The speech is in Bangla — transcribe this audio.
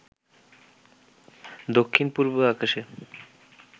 দক্ষিণ পূর্বে আকাশে